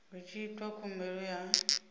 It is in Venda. hu tshi itwa khumbelo ya